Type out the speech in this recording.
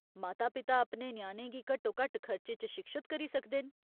माता पिता अपने ञ्याणें गी घट्टोघट्ट खर्चे च शिक्षत करी सकदे न।